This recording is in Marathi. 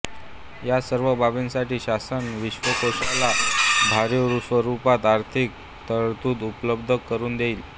या सर्व बाबींसाठी शासन विश्वकोशाला भरीव स्वरूपात आर्थिक तरतूद उपलब्ध करून देईल